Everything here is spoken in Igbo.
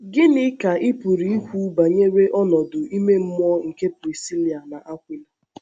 Gịnị ka ị pụrụ ikwu banyere ọnọdụ ìmè mmụọ nke Prisíla na Akwịla?